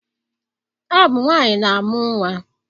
Ọ bụ nwaanyị na-amụ nnwa